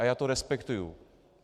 A já to respektuji.